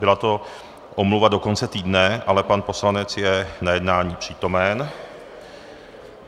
Byla to omluva do konce týdne, ale pan poslanec je na jednání přítomen.